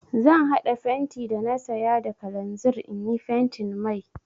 Zan haɗa fenti da na saya da kalanzir in yi fentin mai.